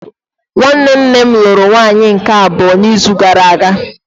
Nwanne nne lụrụ nwaanyị nke abụọ n'izu gara aga